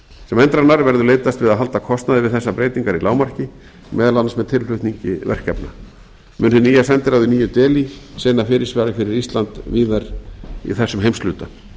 sem endranær verður leitast að halda kostnaði við þessar breytingar í lágmarki meðal annars með tilflutningi verkefna mun hið nýja sendiráð í nýju delhí sinna fyrirsvari fyrir ísland víðar í þessum heimshluta